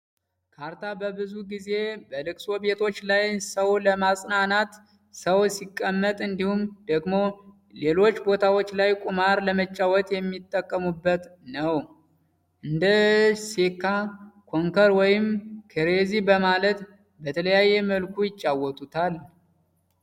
ካርታ ብዙ ጊዜ በለቅሶ ቤቶች ላይ ሰው ለማጽናናት ሰው ሲቀመጥ እንዲሁም ደግሞ ሌሎች ቦታዎች ላይ ቁማር ለመጫወት የሚጠቀሙበት ነው። እንደ ሴካ፣ ኮንከር ወይም ክሬዚ በማለት በተለያየ መልኩ ይጫወቱታል።